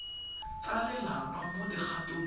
tsa lelapa mo dikgatong tsa